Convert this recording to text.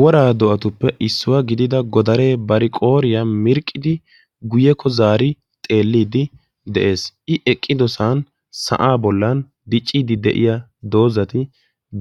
Woraa do"atuppe issuwaa gidida godaree bari qooriyaa mirqqidi guyekko zaari xeelliidi de'ees. i eqqidosan sa'aa bollan dicciidi de'iyaa doozati